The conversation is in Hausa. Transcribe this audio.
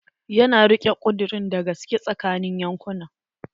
Ya na rike ƙudurin da gaske tsakanin yankunan.